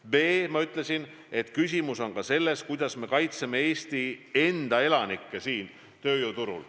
B: ma ütlesin, et küsimus on ka selles, kuidas me kaitseme Eesti enda elanikke tööjõuturul.